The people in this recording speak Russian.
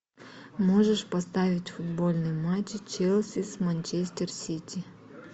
можешь поставить футбольный матч челси с манчестер сити